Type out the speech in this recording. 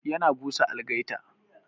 Yana busa algaita.